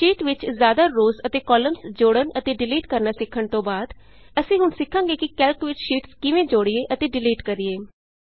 sheet ਵਿਚ ਜ਼ਿਆਦਾ rows ਅਤੇ ਕਾਲਮਜ਼ ਜੋੜਨ ਅਤੇ ਡਿਲੀਟ ਕਰਨਾ ਸਿੱਖਣ ਤੋਂ ਬਾਅਦ ਅਸੀਂ ਹੁਣ ਸਿੱਖਾਂਗੇ ਕਿ ਕੈਲਕ ਵਿਚ ਸ਼ੀਟਸ ਕਿਵੇਂ ਜੋੜੀਏ ਅਤੇ ਡਿਲੀਟ ਕਰੀਏ